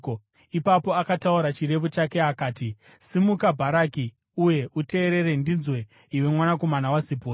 Ipapo akataura chirevo chake akati: “Simuka, Bharaki, uye uteerere; ndinzwe, iwe mwanakomana waZipori.